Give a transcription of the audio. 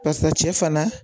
Barisa cɛ fana